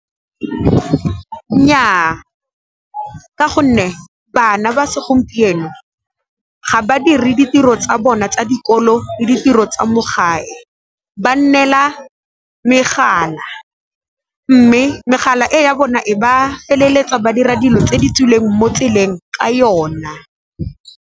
Nnyaa, ka gonne bana ba segompieno ga ba dire ditiro tsa bona tsa dikolo le ditiro tsa mo gae, ba nnela megala mme megala e ya bona e ba feleletsa ba dira dilo tse di tswileng mo tseleng ka yona.